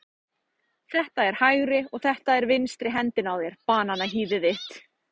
Þetta er hægri og þetta er vinstri hendin á þér, bananahýðið þitt.